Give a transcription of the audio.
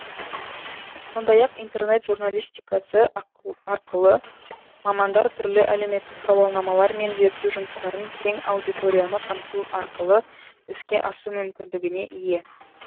сондай ақ интернет журналистикасы арқылы мамандар түрлі әлеуметтік сауалнамалар мен зерттеу жұмыстарын кең аудиторияны қамту арқылы іске асу мүмкіндігіне ие